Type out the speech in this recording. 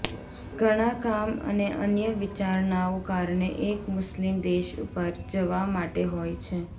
ઘણા કામ અને અન્ય વિચારણાઓ કારણે એક મુસ્લિમ દેશ પર જવા માટે હોય છે